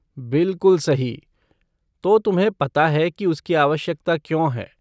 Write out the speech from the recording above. बिलकुल सही, तो तुम्हें पता है कि उसकी आवश्यकता क्यों है।